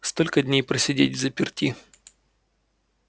столько дней просидеть взаперти